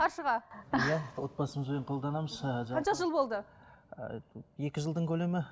қаршыға иә отбасымызбен қолданамыз ыыы жалпы қанша жыл болды ыыы екі жылдың көлемі